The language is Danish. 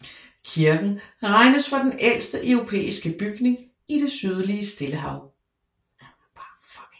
Kirken regnes for den ældste europæiske bygning i det sydlige Stillehav